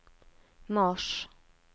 mars